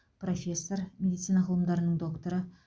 профессор медицина ғылымдарының докторы